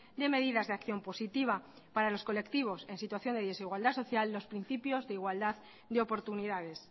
de medidas de acción positiva para los colectivos en situación de desigualdad social los principios de igualdad de oportunidades